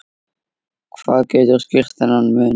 Hvað getur skýrt þennan mun?